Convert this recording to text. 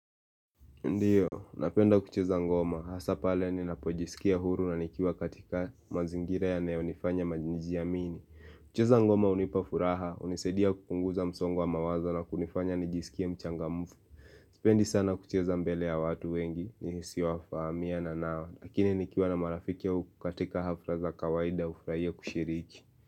Ndiyo, napenda kucheza ngoma, hasa pale ni napojisikia huru na nikiwa katika mazingira yaneyo nifanya majinijia mingi kucheza ngoma unipafuraha, unisedia kupunguza msongo mawaza na kunifanya nijisikia mchangamfu Sipendi sana kucheza mbele ya watu wengi, nisiwafamia na nao, lakini nikiwa na marafiki ya ukatika hafra za kawaida hufraia kushiriki.